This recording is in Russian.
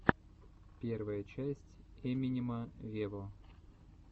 первая часть эминема вево